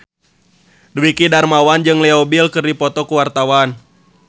Dwiki Darmawan jeung Leo Bill keur dipoto ku wartawan